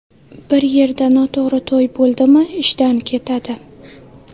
Bir yerda noto‘g‘ri to‘y bo‘ldimi, ishdan ketadi.